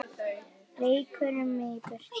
Rekur mig í burtu?